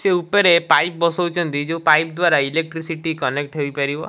ସେ ଉପରେ ପାଇପ ବସିଛନ୍ତି ଜଉ ପାଇପ ଦୂରା ଇଲେକ୍ଟରୀ ସିଟି କନେକ୍ଟ ହେଇ ପାରିବ।